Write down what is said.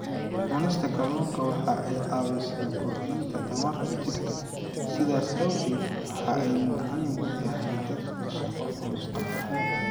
Cunista kalluunku waxa ay caawisaa korodhka tamarta jidhka, sidaas awgeed waxa ay muhiim u tahay dadka shaqo culus qabta.